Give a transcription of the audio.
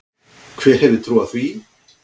Hver hefði trúað því?